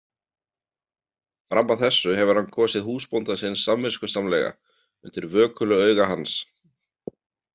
Fram að þessu hefur hann kosið húsbónda sinn samviskusamlega, undir vökulu auga hans.